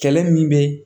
Kɛlɛ min bɛ